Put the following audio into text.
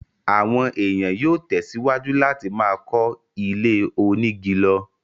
àwọn èèyàn yóò tẹ̀ síwájú láti máa kọ́ ilé onígi lọ.